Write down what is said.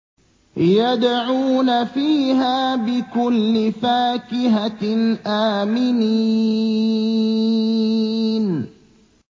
يَدْعُونَ فِيهَا بِكُلِّ فَاكِهَةٍ آمِنِينَ